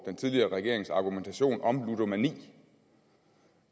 den tidligere regerings argumentation om ludomani